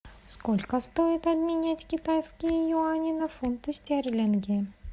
сколько стоит обменять китайские юани на фунты стерлинги